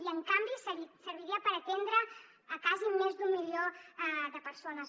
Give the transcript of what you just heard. i en canvi serviria per atendre quasi més d’un milió de persones